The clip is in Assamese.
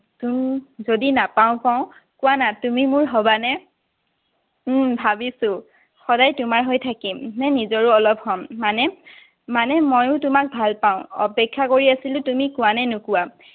যদি নাপাওঁ কওঁ? কোৱানা, তুমি মোৰ হবা নে? উম ভাবিছো। সদায় তোমাৰ হৈ থাকিম নে নিজৰো অলপ হম। মানে? মানে ময়ো তোমাক ভাল পাওঁ। অপেক্ষা কৰি আছিলো তুমি কোৱা নে নোকোৱা।